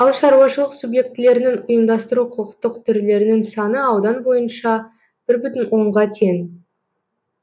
ал шаруашылық субъектілерінің ұйымдастыру құқықтық түрлерінің саны аудан бойынша бір бүтін онға тең